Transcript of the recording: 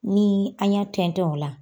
Ni an y'a tɛntɛn o la